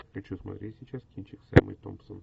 хочу смотреть сейчас кинчик с эммой томпсон